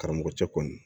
Karamɔgɔcɛ kɔni